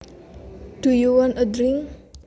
Do you want a drink